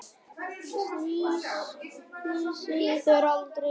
Slysið er aldrei langt undan.